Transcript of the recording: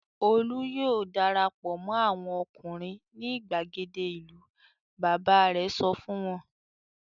"Olú yóò dara pọ̀ mọ́ àwọn ọkùnrin ní ìgbàgede ìlú!" Bàbá rẹ̀ sọ fún wọn.